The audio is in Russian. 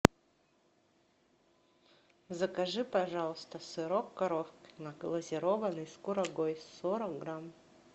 закажи пожалуйста сырок коровкино глазированный с курагой сорок грамм